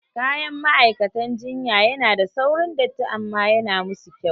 Kayan ma'aikatan jinya yana da saurin datti amma yana musu kyau